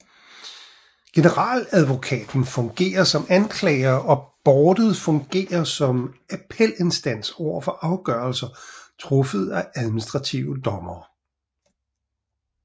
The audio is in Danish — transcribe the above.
Generaladvokaten fungerer som anklager og boardet fungerer som appelinstans overfor afgørelser truffet af administrative dommere